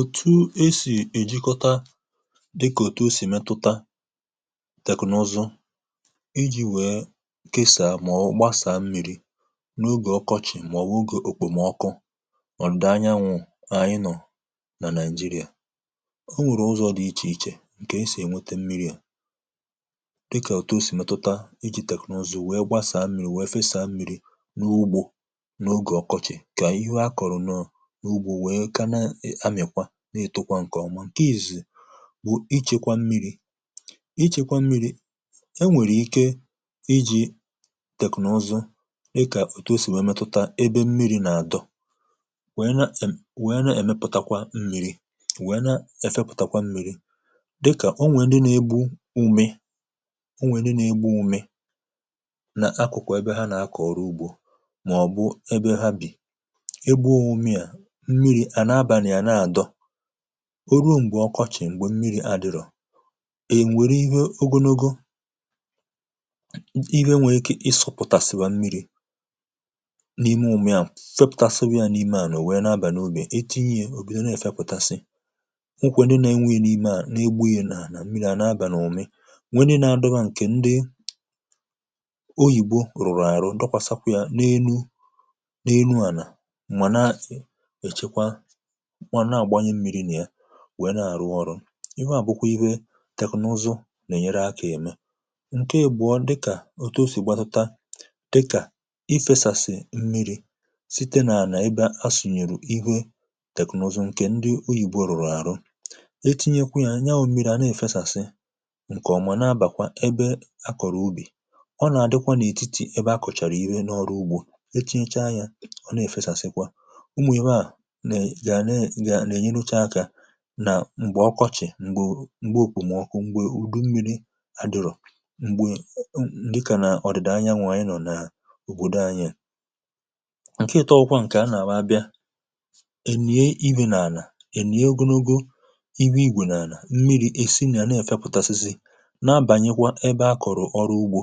Otù esì èjikọta dịkà òtù osì mẹtụta teknụzụ iji̇ wèe kịsà màọbụ̀ gbasàa mmi̇ri n’ugè ọkọchị̀ màọbụ̀ ogè, òkpòmọkụ ọ̀dụ̀da anyanwụ̇ anyị nọ̀ nà nigeria. Ọ nwèrè ụzọ̇ dị ichè ichè ǹkè esì ènwete mmiri̇ à, dịkà òtù osì mẹtụta iji̇ tẹ̀kụ̀nụzụ wèe gbasàa mmi̇ri̇, wèe fẹstàa mmi̇ri̇ n’ugbȯ n’ugè ọkọchị̀, ka ihe akọrụ na ụgbọ wèè ka na amịkwa, na-ètukwa ǹkè ọma. ǹke izù bụ ichekwa mmiri̇, ichekwa mmiri̇, enwèrè ike iji̇ tèknọ̀zụ dịkà òtù o sì nwèe metụta ebe mmiri̇ nà-àdọ, nwèe na-èm nwèe na-èmepụtakwa mmiri̇, nwèe na-efepụtakwa mmiri̇. dịkà o nwèe ndị na-egbu ume ọ nwèe ndị na-egbu ume n’akụkụ ebe ha nà-akọ̀ọrụ ugbȯ, màọbụ ebe ha bì mmiri̇ à na-abà nà ya na-àdọ. Ọ ruo m̀gbè ọkọchị̀ m̀gbè mmiri̇ adịrọ̀, è mwèrè ihe ogonogo, ihe nwèrè ike ịsụ̇pụ̀tàsị̀ bà mmiri̇ n’ime ụmụ̀ ahụ, fepùtàsịwị̀ ya n’ime à nọ wèe na-abà n’ubì, è etinyì è òbido na-èfepùtàsị, mkwè dị na-enweghì n’ime à na-egbu̇ghì nà mmiri̇ à nà-abà n’ùmì, nwere dị na-adọ bà ǹkè ndị oyìbo rùrù àrù ndị kwasakwà yȧ na-enu na-enu ànà kwanụ à na-àgbanye mmiri̇ nà ya wèe na-àrụ ọrụ. ihe à bụkwa ihe teknụzụ nà-ènyere akȧ ème. ǹke àgbọ dịkà otu o sì gbatuta dịkà i fèsàsì mmiri̇ site nà à nà ịbà asùnyèrù ihe teknụzụ ǹkè ndị oyìbo rụ̀rụ àrụ. Etinyekwa yȧ, nya wụ̀ mmiri̇ à na-èfesàsị ǹkè ọ̀mụ̀na bàkwa ebe a kọ̀rọ̀ ubì, ọ nà-àdịkwa n’ètitì ebe akọ̀chàrà ihe n’ọrụ ugbȯ, echinyècha yȧ ọ na-èfesàsị kwa, nà ènyere uche akȧ nà m̀gbè ọkọchị̀, m̀gbe òkùmọ̀kụ, m̀gbè udu mmiri̇ adụrụ̀, m̀gbè ndị kà nà ọ̀dị̀dà anyanwụ̇ anyi nọ̀ nà à ùbodo anyiè. ǹke ịtọ̇ ọkwa ǹkè a nà-àwa bịa è nà-ènùye ibù n’ànà è nà-ègwunogo iwu̇ igwè n’ànà mmiri̇ è si nà à na-èfepùtàsịsị na-abànyekwa ebe a kọ̀rọ̀ ọrụ ugbȯ,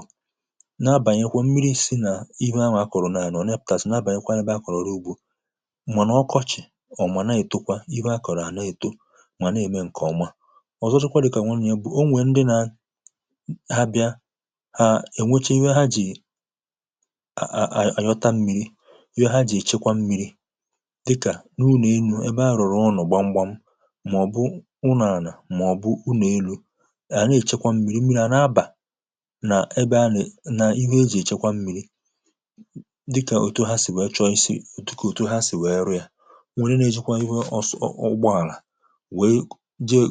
na-abànyekwa mmiri̇ èsị nà ihe ha nwè akọ̀rọ̀ n’àlà o nepùtàsị̀ na-abànyekwa ebe a kọ̀rọ̀ ọrụ ugbȯ, ọ̀ mà na-ètokwa ihe a kọ̀rọ̀ àna-èto mà na-ème ǹkè ọma. ọ̀zọchụkwa dị kà nwanye bụ̀ o nwèe ndị na ha bịa ha ènwecha iwė ha jì a a ànyọta mmiri, iwė ha jì èchekwa mmiri, dịkà n’ụnọ̀ enu̇ ebe arụ̀rụ̀ ụnọ̀ gbamgbam, mà ọ̀ bụ ụnọ̀àlà, mà ọ̀ bụ ụnọ̀ elu, hà na-èchekwa mmiri, mmiri à na-abà nà ebe anị̀ n’ihu eji̇ èchekwa mmiri dịkà òto ha sì wèe chọisị otu kà òto ha sì wèe rù ya. Ọ nwere ndi na ejịkwa ụgbọ ala wee jee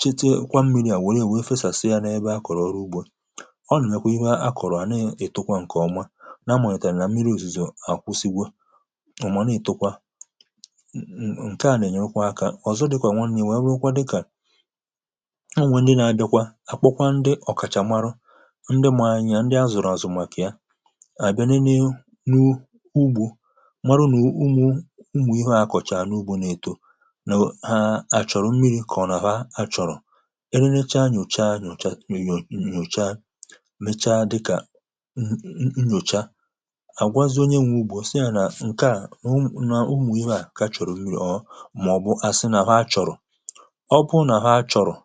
chete kwa mmiri à wère wee fesàsị̀ yȧ n’ebe akọ̀rọ̀ ọrụ ugbȯ. ọ nàkwèkwà imė a kọ̀rọ̀ à na-ètukwa ǹkè ọma, na mȧnyètàrà nà mmiri òzùzò à kwụsigwe ụmụ̀na ìtukwa, ǹke à nà-ènyekwa akȧ. ọ̀zọ dịkwà nwanne n’iwee rewukwa dịkà Ọ nwe ndị nà-adịkwa akpọkwa ndị ọ̀kàchàmarụ ndị màanya ndị a zụ̀rụ̀ àzụ màkà ya àga nenė u nʊ̇ ugbȯ marụ ma ụmụ ịhe ndịa akọchà na ụgbọ na etọ ha achọ̀rọ̀ mmiri̇ kà ọ nà àha achọ̀rọ̀. Ị lecha nà òchaa nà òchaa mecha dịkà m̀m̀mụchaa, à gwazịonye nwe ugbȯ sịyà yȧ nà ǹkè a o nà o mù ihe à kà achọ̀rọ̀ mmiri̇, or ọ̀ maọ̀bụ à sị nà ha chọ̀rọ̀. ọ bụrụ nà ha chọ̀rọ̀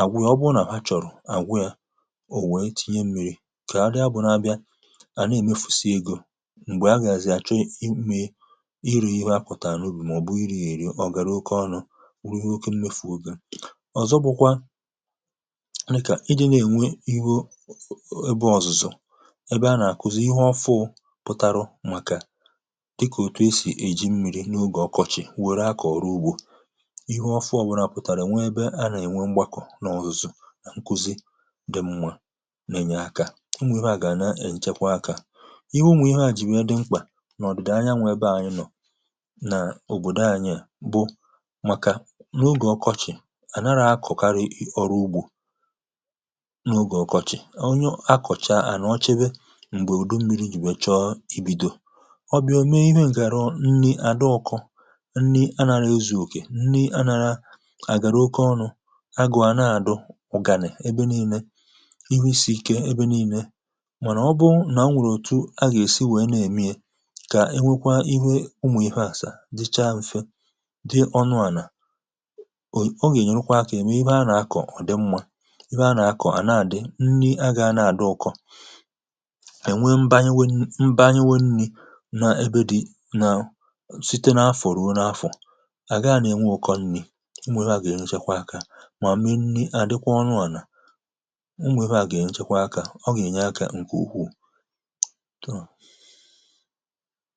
àgwụ yȧ, ọ bụrụ nà ha chọ̀rọ̀ àgwụ yȧ, ò wèe tinye mmiri̇, kà ha dịa bụ̇ n’abịa à na-èmefu̇sì egȯ, m̀gbè ah gà azị̀ achọ i mee n'uru ihe oke mmefu egọ. ọ̀zọ bụkwa nà ị kà iji̇ nà-ènwe iwu ebe ọ̀zụ̀zụ̀ ebe a nà-àkụzi ihe ọfụ pụ̀tarụ màkà dịkà òtù e sì èji mmi̇ri̇ n’ogè ọkọchị̀ wère akọ̀ ọrụ ugbȯ, ihe ọfụ ọbụrụ à pụ̀tàrà e nwee ebe a nà-ènwe mgbakȯ n’ọ̀zụ̀zụ̀ nà nkụzi dị̇ m̀nwà nà-ènye akȧ, iwu̇ nwà ihe à gà nà-ènyekwa akȧ. iwu̇ nwà ihe à jì nwère dị mkpà n’ọ̀dị̀dị̀ anya nwè ebe ànyị nọ̀ na ọbodọ anyị a bụ n’ogè ọkọchị̀ à nara akọ̀karị ọrụ ugbȯ, n’ogè ọkọchị̀ onye akọ̀chà à nọ̀chebe m̀gbè ụdụ mmiri̇ jì we chọ̀ọ ibìdo. ọ bià ome ihė gàrọ nni àdọ ọkụ̇, nni anàla ezùokè, nni anàla àgàrà oke ọnụ̇, agụ̀à na-àdụ, ọ̀gànị̀ ebe nii̇lė, ihu isì ike ebe nii̇lė, mànà ọ bụ nà o nwèrè òtù agà-èsi wèe nà-èmiė kà e nwekwa ihe ụmụ̀ ihe àsa dịchàà mfè, dị ọnụ̇ ànà, o y o gà-ènyerukwa aka ya m ibe a nà-akọ̀ ọ̀ dị mmȧ, ibe a nà-akọ̀ à na-àdị, nni agȧghị na-àdị ụkọ, ènwe mba nyéwe mba nyéwe nni̇ na ebe dị̇ nà, site n’afọ̀rọ̀ wu n’afọ̀ à gaa nà-enwe ụkọ nni̇, ụmụ̀ ebe à gà-ènyerè nchekwa akȧ mà mmị nni̇ à dịkwa ọnụ̇ ànà, ụmụ̀ ebe à gà-ènyerè nchekwa akȧ, ọ gà-ènye akȧ ǹkè ukwuù too.